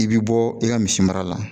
I bɛ bɔ i ka misi mara la